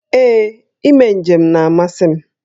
Ee, ime njem na-amasị m